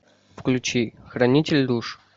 включи хранитель душ